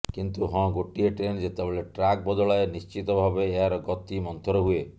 କିନ୍ତୁ ହଁ ଗୋଟିଏ ଟ୍ରେନ୍ ଯେତେବେଳେ ଟ୍ରାକ ବଦଳାଏ ନିଶ୍ଚିତ ଭାବେ ଏହାର ଗତି ମନ୍ଥର ହୁଏ